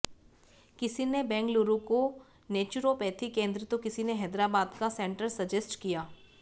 किसी ने बेंगलुरु का नेचुरोपैथी केंद्र तो किसी ने हैदराबाद का सेंटर सजेस्ट किया